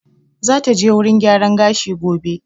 Za ta je wurin gyaran gashi gobe